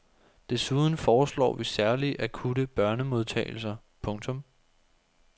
Desuden foreslår vi særlige akutte børnemodtagelser. punktum